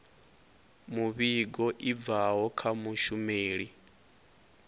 muvhigo i bvaho kha mushumeli